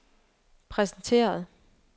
præsenteret